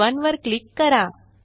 शीत 1 वर क्लिक करा